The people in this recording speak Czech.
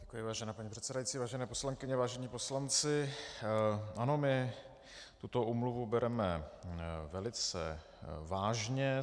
Děkuji, vážená paní předsedající, vážené poslankyně, vážení poslanci, ano, my tuto úmluvu bereme velice vážně.